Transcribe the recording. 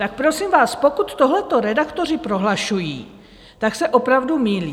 Tak prosím vás, pokud tohleto redaktoři prohlašují, tak se opravdu mýlí.